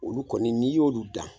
Olu kɔni n'i y'olu dan.